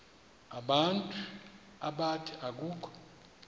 abantu abathi akukho